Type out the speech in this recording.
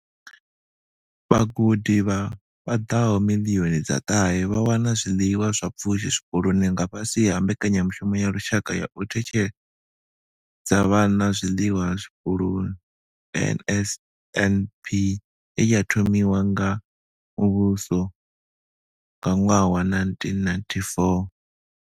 Vhagudi vha paḓaho miḽioni dza ṱahe vha wana zwiḽiwa zwa pfushi zwikoloni nga fhasi ha Mbekanya mushumo ya Lushaka ya u Ṋetshedza Vhana Zwiḽiwa Zwikoloni NSNP ye ya thomiwa nga muvhuso nga ṅwaha wa 1994.